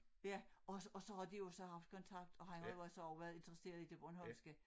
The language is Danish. Ja og og så har de jo så haft kontakt og han har jo så også været interesseret i det bornholmske